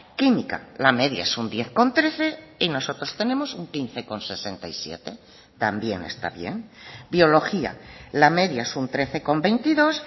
química la media es un diez coma trece y nosotros tenemos un quince coma sesenta y siete también está bien biología la media es un trece coma veintidós